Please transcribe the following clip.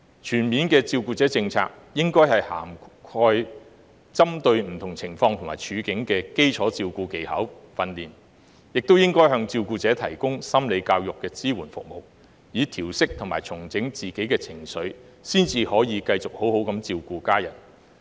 全面的照顧者政策，應該涵蓋針對不同情況和處境的基礎照顧技巧訓練，亦應該向照顧者提供心理教育的支援服務，以調適和重整自己的情緒，才能繼續好好地照顧家人。